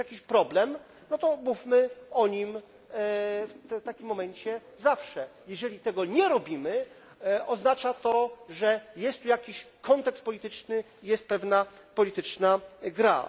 Jeżeli jest jakiś problem, no to mówmy o nim w takim momencie zawsze. Jeżeli tego nie robimy, oznacza to, że jest tu jakiś kontekst polityczny, jest pewna polityczna gra.